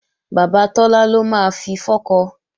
Bàbá Tọ́lá ló máa fi fọ́kọ